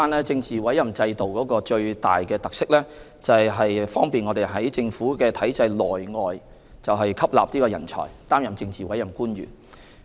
政治委任制度的最大特色是方便政府在政府體制內外吸納人才，擔任政治委任官員。